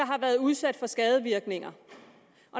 har været udsat for skadevirkninger